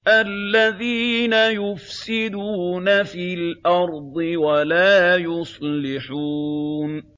الَّذِينَ يُفْسِدُونَ فِي الْأَرْضِ وَلَا يُصْلِحُونَ